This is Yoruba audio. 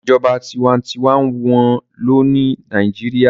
Ìjọba tinwatinwa n wọ́n lò ní Nàìjíríyà